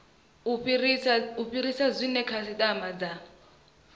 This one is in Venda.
u fhirisa zwe khasitama dza